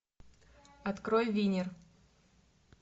открой винер